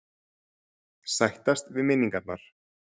Sættast við minningarnar.